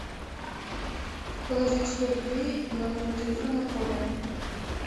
положить сто рублей на номер телефона коля